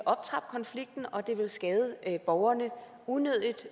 optrappe konflikten og det ville skade borgerne unødigt